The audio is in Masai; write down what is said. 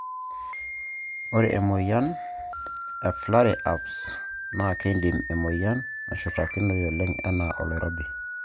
ore emoyian e Flare ups na kindim emoyian nashurtakinoi oleng ena oloirobi.